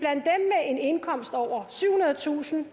indkomst på over syvhundredetusind